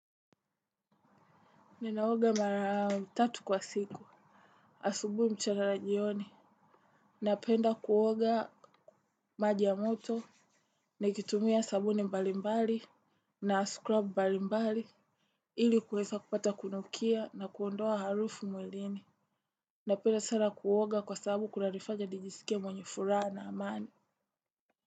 Ninaoga mara tatu kwa siku, asubuhi, mchana na jioni, napenda kuoga maji ya moto, na kitumia sabuni mbalimbali, na scrub mbalimbali, ili kuweza kupata kunukia na kuondoa harufu mwilini, napenda sana kuoga kwa sabu kunanifanya nijisikie mwenye furaha na amani.